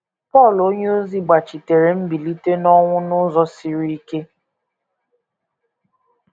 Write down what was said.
Pọl onyeozi gbachiteere mbilite n’ọnwụ n’ụzọ siri ike